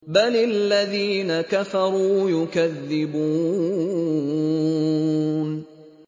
بَلِ الَّذِينَ كَفَرُوا يُكَذِّبُونَ